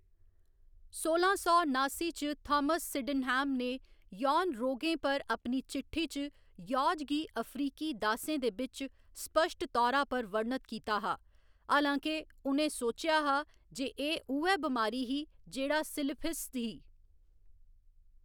सोलां सौ नास्सी च थामस सिडेनहैम ने यौन रोगें पर अपनी चिट्ठी च यौज गी अफ्रीकी दासें दे बिच्च स्पश्ट तौरा पर वर्णत कीता हा, हालांके उ'नें सोचेआ हा जे एह्‌‌ उ'ऐ बमारी ही जेह्‌‌ड़ा सिफिलिस ही।